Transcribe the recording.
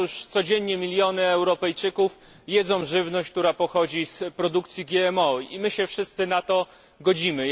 Codziennie miliony Europejczyków jedzą żywność, która pochodzi z produkcji GMO, i my się wszyscy na to godzimy.